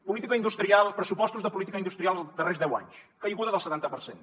política industrial pressupostos de política industrial dels darrers deu anys caiguda del setanta per cent